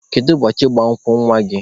Kedu ụbọchị ịgba nkwụ nwa gị?